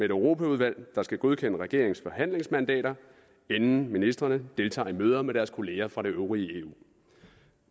europaudvalg der skal godkende regeringens forhandlingsmandater inden ministrene deltager i møder med deres kolleger fra det øvrige eu